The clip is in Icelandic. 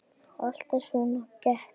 Alltaf svona kekk?